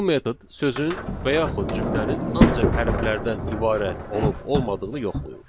Bu metod sözün və yaxud cümlənin ancaq hərflərdən ibarət olub olmadığını yoxlayır.